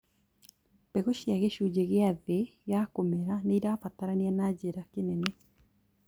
Mbegũ cia gĩcunjĩ gĩa thĩ ya kũmera nĩrabatarania na njĩra kĩnene